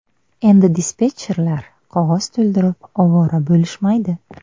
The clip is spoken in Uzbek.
Endi dispetcherlar qog‘oz to‘ldirib ovora bo‘lishmaydi.